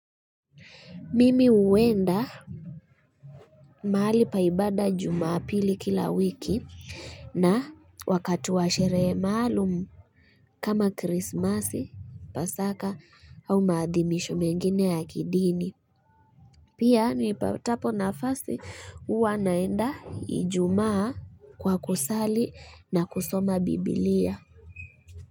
Mimi huenda mahali pa ibada jumapili kila wiki na wakati wa sherehe maalumu kama krismasi pasaka au maadhimisho mengine ya kidini Pia nipatapo na fasi huwa naenda ijumaa kwa kusali na kusoma bibilia.